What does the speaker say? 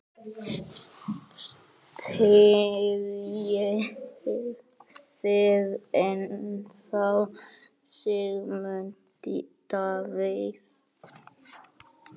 Styðjið þið ennþá Sigmund Davíð?